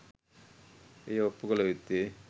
එය ඔප්පු කල යුත්තේ